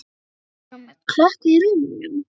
spurði hún með klökkva í rómnum.